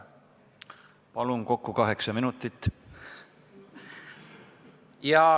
Palun, kokku kaheksa minutit!